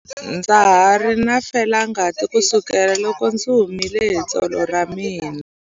Ndza ha ri na felangati kusukela loko ndzi himile hi tsolo ra mina.